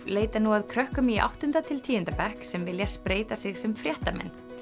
leita nú að krökkum í áttunda til tíunda bekk sem vilja spreyta sig sem fréttamenn